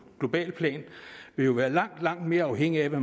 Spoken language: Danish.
globalt plan vil jo være langt langt mere afhængige af hvad